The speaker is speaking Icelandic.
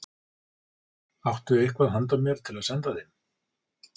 Áttu eitthvað handa mér til að senda þeim?